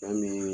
Fɛn min